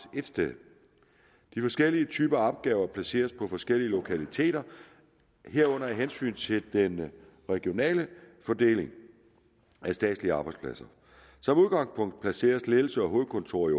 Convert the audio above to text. et sted de forskellige typer opgaver placeres på forskellige lokaliteter herunder af hensyn til den regionale fordeling af statslige arbejdspladser som udgangspunkt placeres ledelsen og hovedkontoret